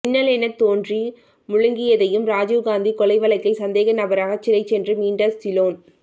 மின்னலெனத்தோன்றி முழங்கியதையும் ராஜீவ் காந்தி கொலைவழக்கில் சந்தேகநபராக சிறைசென்று மீண்ட சிலோன்